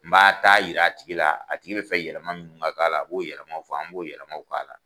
N ba taa yira a tigi la a tigi bɛ fɛ yɛlɛma min ka k'a la a b'o yɛlɛmaw fɔ an b'o yɛlɛmaw k'a la.